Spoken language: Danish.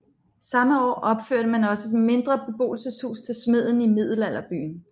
Samme år opførte man også et mindre beboelseshus til smeden i middelalderbyen